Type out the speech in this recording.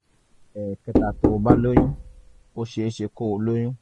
ẹ̀kẹta tó o bá lóyún ó ṣeé ṣe kó o lóyún